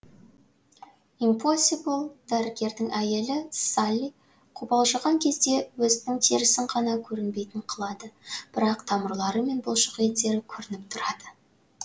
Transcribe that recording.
импосибл дәрігердің әйелі салли қобалжыған кезде өзінің терісін ғана көрінбейтін қылады бірақ тамырлары мен бұлшықеттері көрініп тұрады